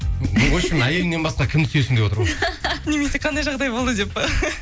вообщем әйеліңнен басқа кімді сүйесің деп отыр ғой немесе қандай жағдай болды деп пе